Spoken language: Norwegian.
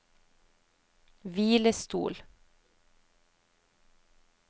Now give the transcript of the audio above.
hvilestol